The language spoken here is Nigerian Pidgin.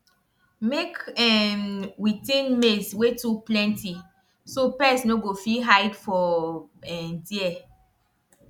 make um we thin maize wey too plenty so pest no go fit hide for um there